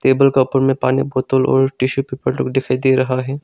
Table में पानी बोतल और टिशू पेपर लोग दिखाई दे रहा है।